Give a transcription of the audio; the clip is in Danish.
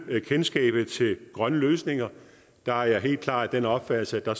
kendskabet til grønne løsninger der er jeg helt klart af den opfattelse at